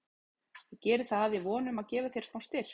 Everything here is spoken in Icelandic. Ég geri það í von um að gefa þér smá styrk.